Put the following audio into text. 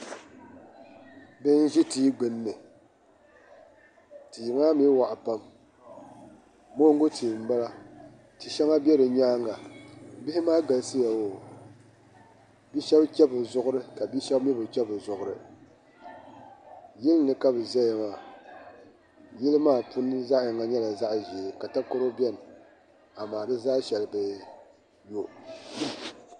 Bihi n-ʒi tihi gbunni tia, maa mi waɣa pam moogu tia m-bala ti' shɛŋa be bɛ nyaaŋa bihi maa galisiya oo bɛ shɛba che bɛ zuɣuri ka bɛ shɛba bi che bɛ zuɣuri yili ni ka bɛ zaya maa yili maa puuni zaɣ' yini nyɛla zaɣ' ʒee amaa yili maa ka takɔro beni amaa di zaa shɛli bi yo